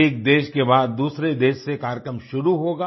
एक देश के बाद दूसरे देश से कार्यक्रम शुरू होगा